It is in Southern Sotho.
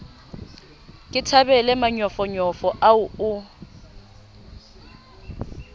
ke thabele manyofonyo ao o